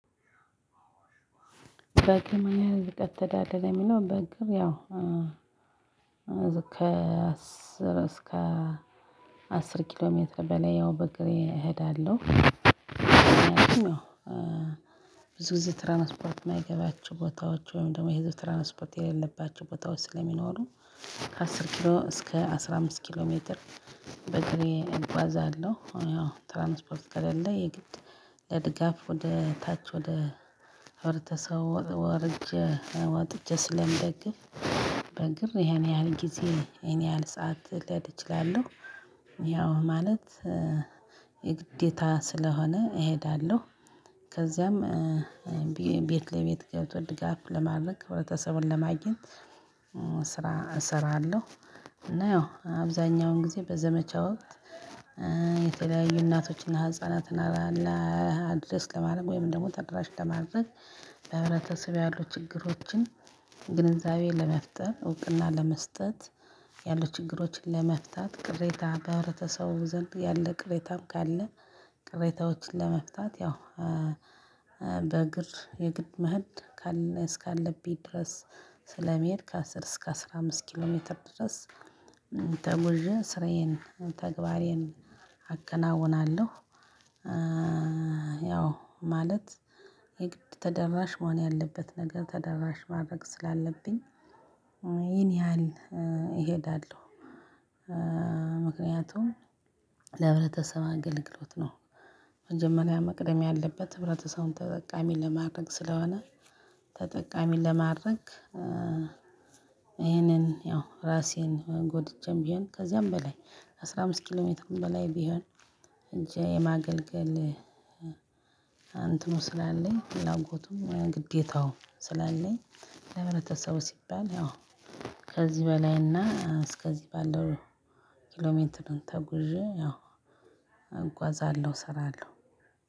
በግም ይሄ ህዝብ ተዳደለ የሚለው በግም ያው ከ አስር እስከ አስር ኪሎ ሜትር በላይ ያው በእግሬ እሄዳለሁ። ብዙ ጊዜ ትራንስፖርት እማይገባቸው ቦታዎች ወይም ደግሞ የህዝብ ትራንስፖርት የሌለባቸው ቦታዎች ስለሚኖሩ ከ አስር ኪሎ እስከ አስራ አምስት ኪሎ ሜትር በግሬ እጓዛለሁ ያው ትራንስፖርት ከሌለ የግድ ለድጋፍ ወደ ታች ወደ ወርጄ ወጥቼ ስለምደግፍ። በግር ይሄን ያህል ጊዜ ይሄን ያህል ሰዓት ልሄድ እችላለሁ። ያው ማለት የግዴታ ስለሆነ እሄዳለሁ። ከዛም ቤት ለቤት ገብቶ ድጋፍ ለማድረግ ህብረትተሰቡን ለማግኘት። ስራ እሰራለሁ እና ያው አብዛኛውን ጊዜ በዘመቻ ወቅት የተለያዩ እናቶችና ህፃናትን አድርገው እና አድሬስ ለማድረግ ወይም ደግሞ ተደራሽ ለማድረግ። በህብረተሰብ ያሉ ችግሮችን ግንዛቤ ለመፍጠር እና ለመስጠት። ያሉ ችግሮችን ለመፍታት ቅሬታ በህብረተሰቡ ዘንድ ያለ ቅሬታ ካለ ቅሬታዎችን ለመፍታት ያው። በእግር የግድ መሄድ ካለ እስካለብኝ ድረስ ስለመሄድ ከአስር እስከ አስራ አምስት ኪሎ ሜትር ድረስ ተጉዤ ስራዬን ተግባሬን አከናውናለሁ። ያው ማለት የግድ ተደራሽ መሆን ያለበት ነገር ተደራሽ ማድረግ ስላለብኝ ይሄን ያህል እሄዳለሁ። ምክንያቱም ለህብረተሰብ አገልግሎት ነው። መጀመሪያ መቅደም ያለበት ህብረተሰቡን ተጠቃሚ ለማድረግ ስለሆነ ተጠቃሚ ለማድረግ። ይሄንን ያው ራሴን ጎድቼም ቢሆን ከዚያም በላይ አስራ አምስት ኪሎ ሜትርም በላይ ቢሆን ሄጄ የማገልገል እንትኑ ነው ስላለኝ ሌላው ፍላጎቱም ግዴታው ስላለኝ። ለሕብረተሰቡ ሲባል ያው ከዚህ በላይና እስከዚህ ባለው ኪሎሜንትርን ተጉዢ ያው እንጓዛለሁ እሰራለሁ።